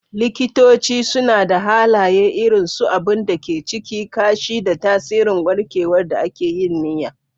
Likitoci suna da halaye irin su abun da ke ciki, kashi, da tasirin warkewar da aka yi niyya.